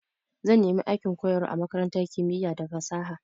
Zan nemi aikin koyarwa a makarantar kimiya da fasaha.